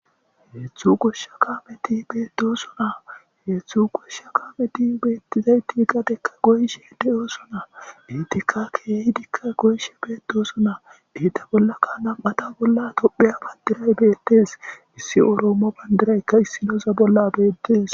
Hedzdzu gosha kasmeti betosona , hedzdzu gosha kasmeti betidayti gadeza goyishe de'osona, izetika keehidika goyishe de'osona,eta bollaka nam'ata bolla tophiya bandiray betes, issi oromo bandirayka issinoza bolla betes